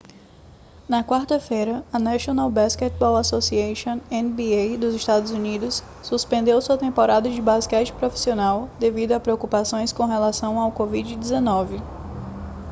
na quarta-feira a national basketball association nba dos estados unidos suspendeu sua temporada de basquete profissional devido a preocupações com relação ao covid-19